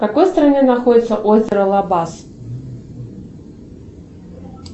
в какой стране находится озеро лабаз